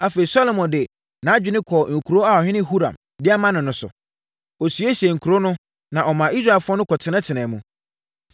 Afei, Salomo de nʼadwene kɔɔ nkuro a ɔhene Huram de ama no no so. Ɔsiesiee nkuro no, na ɔmaa Israelfoɔ no kɔtenatenaa mu.